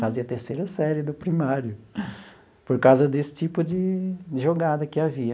Fazia terceira série do primário, por causa desse tipo de jogada que havia.